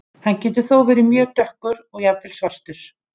Hann getur þó verið mjög dökkur og jafnvel svartur.